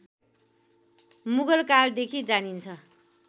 मुगल कालदेखि जानिन्छ